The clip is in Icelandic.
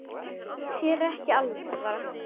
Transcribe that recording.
Þér er ekki alvara